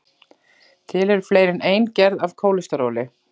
til eru fleiri en ein gerð af kólesteróli